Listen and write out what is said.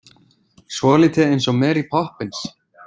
Svolítið eins og Mary Poppins.